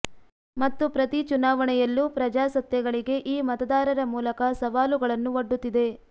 ಮತ್ತು ಪ್ರತಿ ಚುನಾವಣೆಯಲ್ಲೂ ಪ್ರಜಾಸತ್ತೆಗಳಿಗೆ ಈ ಮತದಾರರ ಮೂಲಕ ಸವಾಲುಗಳನ್ನು ಒಡ್ಡುತ್ತಿದೆ